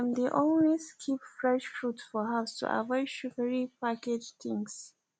dem dey always keep fresh fruit for house to avoid sugary packaged things